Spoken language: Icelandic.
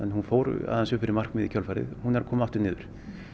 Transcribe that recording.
hún fór aðeins upp fyrir markmiðið í kjölfarið hún er að koma aftur niður